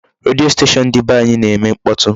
Redio station dị be nwaanyị na-eme mkpọtụ.